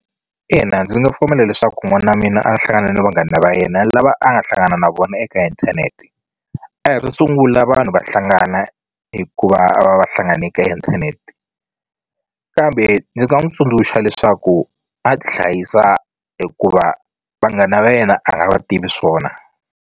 Ina ndzi nga pfumela leswaku n'wana wa mina a hlangana na vanghana va yena lava a nga hlangana na vona eka inthanete a hi ro sungula vanhu va hlangana hikuva a va va hlangane ka inthanete kambe ni nga n'wu tsundzuxa leswaku a tihlayisa hikuva vanghana va yena a nga va tivi swona.